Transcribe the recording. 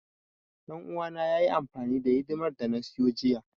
Ɗan uwana yayi amfani da hidimar da na siyo jiya.